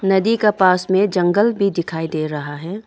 नदी का पास में जंगल भी दिखाई दे रहा है।